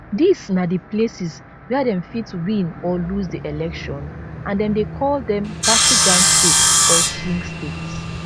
dis na di places wia dem fit win or lose di election and dem dey call dem battleground states or swing states